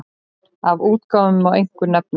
Af útgáfum má einkum nefna